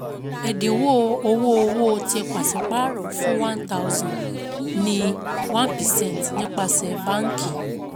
Ẹ̀dínwó owó-owó tí pàsípààrọ̀ fún one thousand ní one percent nípasẹ̀ báǹkì